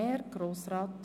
Höhere Fachschulen: